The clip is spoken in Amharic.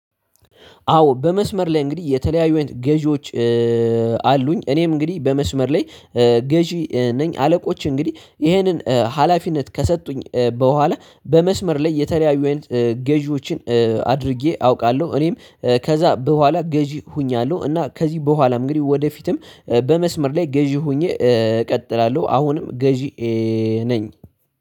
አዎ በመስመር ላይ እንግዲህ የተለያዩ ገዢዎች አሉኝ። እኔም እንግዲህ በመስመር ላይ ገዢ ነኝ። አለቆች እንግዲህ ይሄንን ሀላፊነት ከሰጡኝ በኋላ በመስመር ላይ የተለያዩ ገዢዎችን አድርጌ አውቃለሁ። እኔም ከዛ በኋላ ገዢ ሁኛለሁ። እና ከዚህ በኋላ እንግዲህ ወደፊትም በመስመር ላይ ገዢ ሆኜ እቀጥላለሁ። አሁንም ገዢ ነኝ